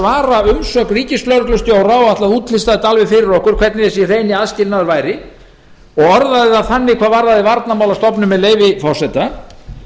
svara umsögn ríkislögreglustjóra og ætlaði að útlista það fyrir okkur hvernig þessi hreini aðskilnaður væri það var þannig orðað varðandi varnarmálastofnun með leyfi forseta